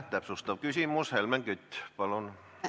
Täpsustav küsimus, Helmen Kütt, palun!